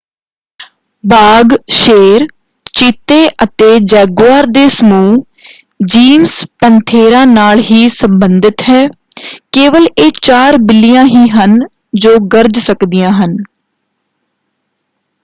ਬਾਘ ਸ਼ੇਰ ਚੀਤੇ ਅਤੇ ਜੈਗਊਆਰ ਦੇ ਸਮੂਹ ਜੀਨਸ ਪੈਂਥੇਰਾ ਨਾਲ ਹੀ ਸਬੰਧਤ ਹੈ। ਕੇਵਲ ਇਹ ਚਾਰ ਬਿੱਲੀਆਂ ਹੀ ਹਨ ਜੋ ਗਰਜ ਸਕਦੀਆਂ ਹਨ।